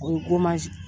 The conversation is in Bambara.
O ye